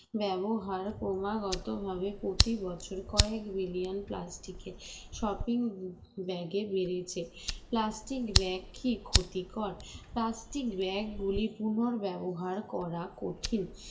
ব্যবহার ক্রমাগত ভাবে প্রতি বছর কয়েক billion plastic এর shopping bag এ বেরিয়েছে plastic bag কি ক্ষতিকর plastic bag গুলি পুনঃব্যবহার করা কঠিন